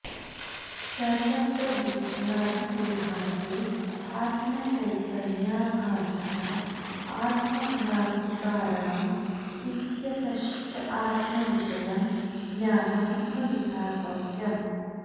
सर्वत्र बुद्ध्यादिदेहान्ते आत्मचैतन्याभासता आत्मभ्रान्तिकारणं इत्यतश्च आत्मविषयं ज्ञानं न विधातव्यम्